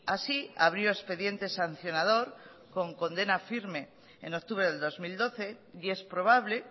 así abrió expediente sancionador con condena firme en octubre del dos mil doce y es probable